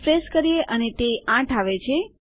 refresh કરીએ અને તે ૮ આવે છે